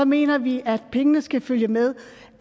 mener vi at pengene skal følge med